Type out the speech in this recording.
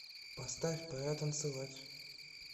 поставь пора танцевать